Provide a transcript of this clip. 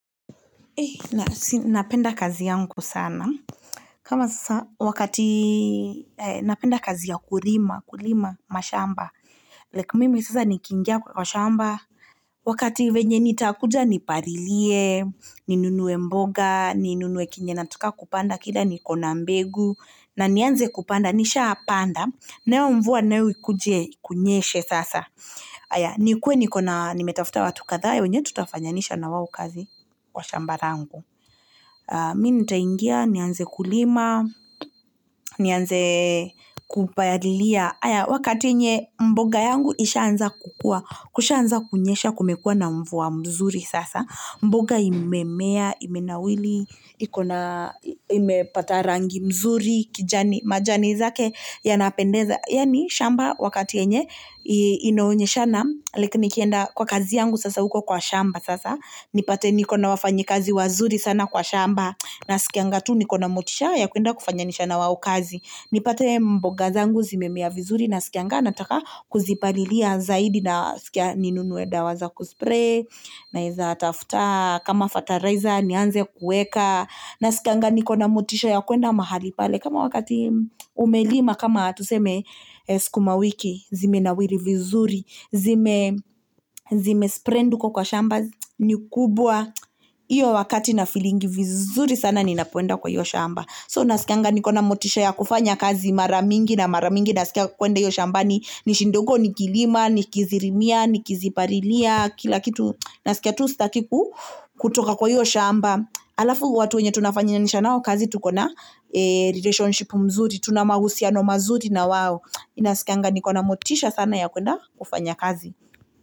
Na penda kazi yangu sana, kama wakati napenda kazi ya kulima, kulima mashamba. Like mimi sasa nikiingia kwa shamba wakati venye nitakuja nipaliliye, ninunue mboga, ninunue kenye nataka kupanda. Kida nikona mbengu na nianze kupanda, nishaa panda. Nayo mvua nayo ikuje, kunyeshe sasa. Nikuwe, nikona nimetafuta watu kadhaa, wengine tutafanyanisha na wao kazi kwa shamba langu. Mimi nitaingia, nianze kulima, nianze kupaliliya. Aya wakati yenye mboga yangu isha anza kukua, kushaanza kunyesha kumekwa na mvua mzuri sasa. Mboga imemea, imenawili, ikona imepata rangi mzuri. Kijani majanizake yanapendeza, yanishamba wakati enye inaoneshana. Like nikienda kwa kazi yangu sasa uko kwa shamba sasa. Nipate niko na wafanyakazi wazuri sana kwa shamba. Naskianga tu, niko na motisha ya kufanyanisha na wao kazi. Nipate mboga zangu zimemea vizuri, naskianga nataka kuzipaliliya zaidi naskia niniunue dawa za kuspray. Naeza tafuta kama fertilizer nianze kueka. Naskianga niko na motisha ya kuenda mahali pale. Kama wakati umelima kama tuseme sukumawiki zime nawiri vizuri. Zime, zime spread huko kwa shamba ni kubwa. Iyo wakati na feelingi vizuri sana ni napoenda kwa iyo shamba. So naskianga niko na motisha ya kufanyakazi maramingi na maramingi. Naskia kuenda iyo shamba ni nishinde huko, nikilima, nikizilimiya, nikizipaliliya. Naskia tu sitaki ku kutoka kwa iyo shamba. Alafu watu wenye tunafanyishanao kazi tukona relationship mzuri, tuna mahusiano mazuri na wao. Naskianga niko na motisha sana ya kuenda kufanyakazi.